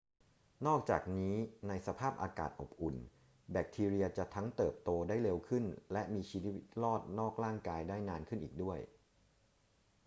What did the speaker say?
นอกจากนี้ ในสภาพอากาศอบอุ่น แบคทีเรียจะทั้งเติบโตได้เร็วขึ้นและมีชีวิตรอดนอกร่างกายได้นานขึ้นอีกด้วย